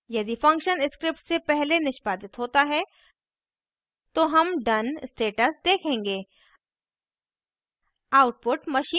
यदि function script से पहले निष्पादित होता है तो हम done status देखेंगे